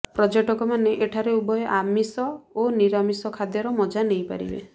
ପର୍ଯ୍ୟଟକମାନେ ଏଠାରେ ଉଭୟ ନିରାମିଷ ଓ ଆମିଷ ଖାଦ୍ୟର ମଜା ନେଇ ପାରିବେ